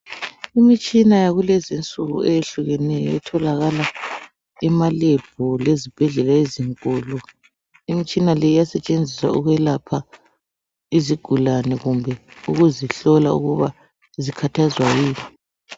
Imitshina yakulezinsuku eyehlukeneyo etholakala emaLab lezibhedlela ezinkulu imitshina le iyasetshenziswa ukwelapha izigulani kumbe ukuzihlola ukuba zikhathazwa yini.